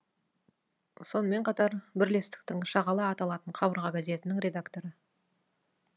сонымен қатар бірлестіктің шағала аталатын қабырға газетінің редакторы